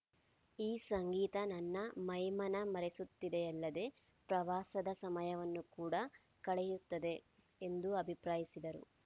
ಈ ಸಂಗೀತ ನನ್ನ ಮೈಮನ ಮರೆಸುತ್ತದೆಯಲ್ಲದೆ ಪ್ರವಾಸದ ಸಮಯವನ್ನು ಕೂಡ ಕಳೆಯುತ್ತದೆ ಎಂದು ಅಭಿಪ್ರಾಯಿಸಿದರು